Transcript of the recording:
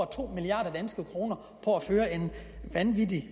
to milliard danske kroner på at føre en vanvittig